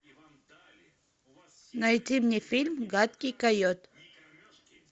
найди мне фильм гадкий койот